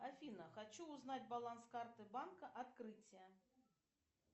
афина хочу узнать баланс карты банка открытие